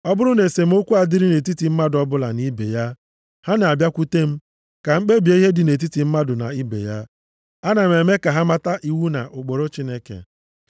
Ọ bụrụ na esemokwu adịrị nʼetiti mmadụ ọbụla na ibe ya, ha na-abịakwute m, ka m kpebie ihe dị nʼetiti mmadụ na ibe ya. Ana m eme ka ha mata iwu na ụkpụrụ Chineke.”